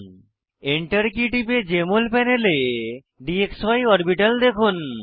Enter কী টিপে Jmol প্যানেলে ডিএক্সি অরবিটাল দেখুন